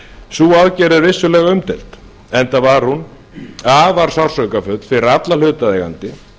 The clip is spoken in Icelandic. sú aðgerð er vissulega umdeild enda var hún afar sársaukafull fyrir alla hlutaðeigandi